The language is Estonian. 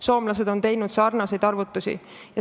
Soomlased on teinud sarnaseid arvutusi.